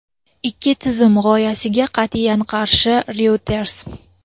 ikki tizim" g‘oyasiga qat’iyan qarshi – "Reuters".